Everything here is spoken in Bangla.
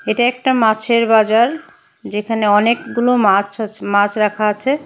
এটা একটা মাছের বাজার যেখানে অনেকগুলো মাছ আছ মাছ রাখা আছে।